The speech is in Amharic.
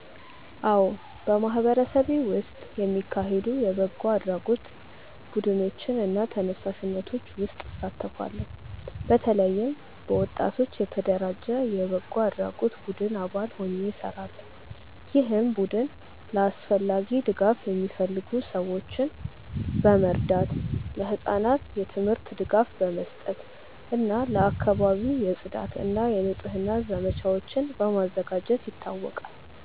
አዎ፣ በማህበረሰቤ ውስጥ የሚካሄዱ የበጎ አድራጎት ቡድኖች እና ተነሳሽነቶች ውስጥ እሳተፋለሁ። በተለይም በወጣቶች የተደራጀ የበጎ አድራጎት ቡድን አባል ሆኜ እሰራለሁ፣ ይህም ቡድን ለአስፈላጊ ድጋፍ የሚፈልጉ ሰዎችን በመርዳት፣ ለህጻናት የትምህርት ድጋፍ በመስጠት እና ለአካባቢው የጽዳት እና የንጽህና ዘመቻዎችን በማዘጋጀት ይታወቃል።